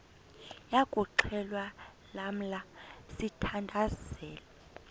yokuxhelwa lamla sithandazel